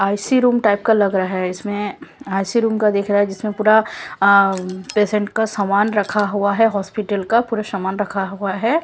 IC room type का लग रहा है इसमें आईसी रूम का दिख रहा है जिसमें पूरा पेशेंट का सामान रखा हुआ है हॉस्पिटल का पूरा सामान रखा हुआ है।